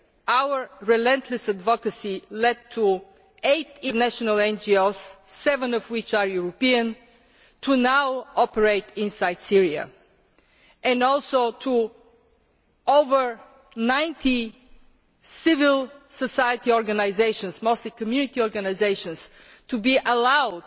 Our relentless advocacy led to eight international NGOs, seven of which are European, now operating inside Syria and also to over 90 civil society organisations, mostly Community organisations, to be allowed